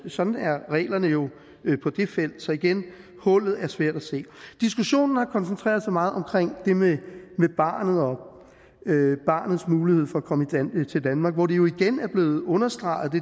sådan er reglerne jo på det felt så igen hullet er svært at se diskussionen har koncentreret sig meget omkring det med barnet og barnets mulighed for at komme til til danmark hvor det jo igen er blevet understreget